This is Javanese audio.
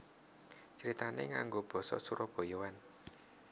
Critané nganggo basa surabayaan